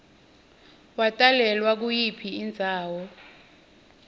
watalelwa kuyiphi indzawo